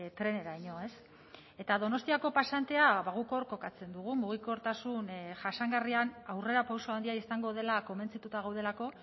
treneraino ez eta donostiako pasantea guk hor kokatzen dugu mugikortasun jasangarrian aurrerapauso handia izango dela konbentzituta gaudelako